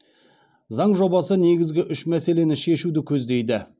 заң жобасы негізгі үш мәселені шешуді көздейді